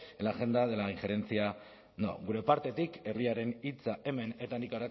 en la agenda de la injerencia no gure partetik herriaren hitza hemen eta nik